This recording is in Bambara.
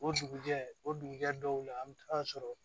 O dugujɛ o dugujɛ dɔw la an bɛ taa sɔrɔ